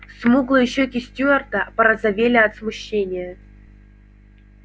смуглые щёки стюарта порозовели от смущения